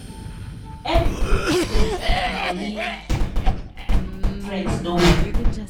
emily hide say her money dey finish make her friends no worry.